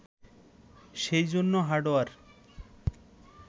সেজন্য হার্ডওয়্যার